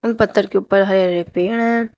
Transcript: उन पत्थर के ऊपर हरे हरे पेड़ हैं।